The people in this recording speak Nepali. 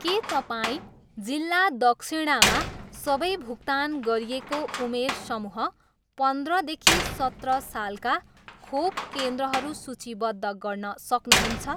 के तपाईँँ जिल्ला दक्षिणामा सबै भुक्तान गरिएको उमेर समूह पन्द्रदेखि सत्र सालका खोप केन्द्रहरू सूचीबद्ध गर्न सक्नुहुन्छ?